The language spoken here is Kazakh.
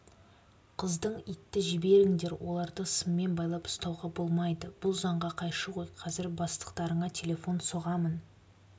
қыздың итті жіберіңдер оларды сыммен байлап ұстауға болмайды бұл заңға қайшы ғой қазір бастықтарыңа телефон соғамын